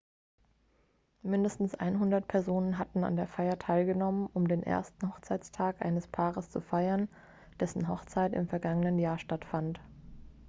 mindestens 100 personen hatten an der feier teilgenommen um den ersten hochzeitstag eines paares zu feiern dessen hochzeit im vergangenen jahr stattfand